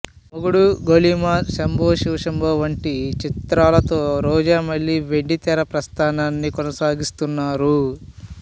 మొగుడు గోలీమార్ శంభో శివ శంభో వంటి చిత్రాలతో రోజా మళ్లీ వెండితెర ప్రస్థానాన్ని కొనసాగిస్తున్నరు